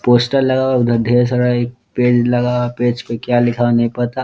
Poster लगा हुआ उधर ढेर सारा एक पेज लगा पेज पे क्या लिखा हुआ नहीं पता।